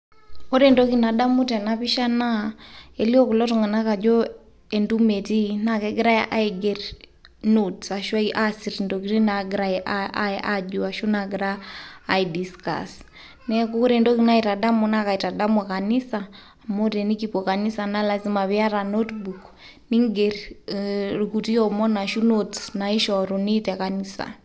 Ore entoki nadamu tena pisha naa elio kulo tung'anak ajo entumo etii negira aiger notes ashu aasir ntokitin naagirai aai aa aajo ashu naagirai aidiscuss. Neeku ore entoki naitadamu naa kaitadamu kanisa amu tenikipuo kanisa naa lazima piata notebook, ning'er irkuti omon ashu notes naishoruni te kanisa.